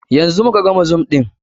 Yanzu mu ka gama zoom ɗin.